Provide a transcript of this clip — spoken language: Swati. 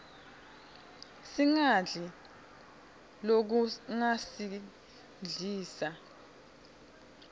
singadli lokungasiglisa